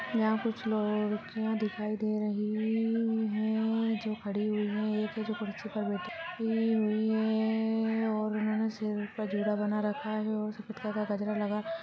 यहां कुछ लोग लड़किया दिखाई दे रही है जो खड़ी हुई है एक है जो कुर्सी पर बैठी हुई है और उन्होंने सिर पर जूड़ा बना रखा है और सफेद कलर का जगरा लगा रखा है।